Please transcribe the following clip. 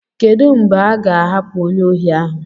Kedu mgbe a ga-ahapụ onye ohi ahu?